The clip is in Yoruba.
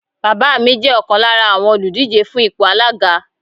Bàbá mi jẹ́ ọ̀kan lára àwọn òlùdíje fún ipò alága